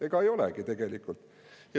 Ega ei olegi tegelikult.